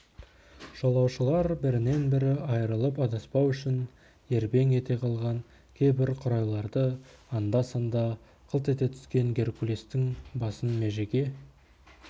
жолаушылар бірінен бірі айрылып адаспау үшін ербең ете қалған кейбір қурайларды анда-санда қылт ете түскен геркулестің басын межеге